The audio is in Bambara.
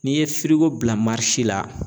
N'i ye bila la.